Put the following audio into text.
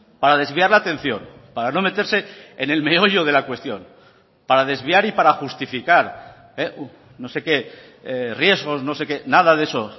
para desviar la atención para no meterse en el meollo de la cuestión para desviar y para justificar no sé qué riesgos no sé qué nada de eso